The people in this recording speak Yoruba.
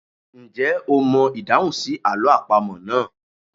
Ǹjẹ́ o mọ ìdáhùn sí àlọ́ àpamọ́ náà?